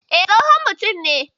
E, tsohon mutum ne.